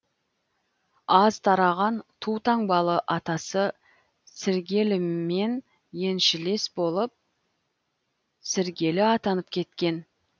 аз тараған тутаңбалы атасы сіргелімен еншілес болып сіргелі атанып кеткен